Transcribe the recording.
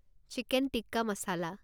chicken tikka মচলা